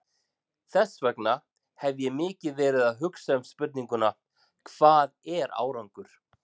Þess vegna hef ég mikið verið að hugsa um spurninguna, hvað er árangur?